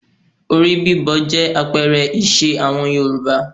Orí bíbọ jẹ́ àpẹẹrẹ ìṣe àwọn Yorùbá